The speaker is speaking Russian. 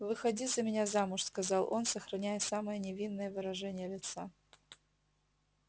выходи за меня замуж сказал он сохраняя самое невинное выражение лица